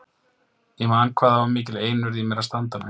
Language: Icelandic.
Ég man hvað það var mikil einurð í mér að standa mig.